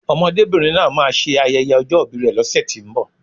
Ọmọdébìnrin náà máa ṣe ayẹyẹ ọjọ́ ìbi rè lọ́sẹ̀tínbọ̀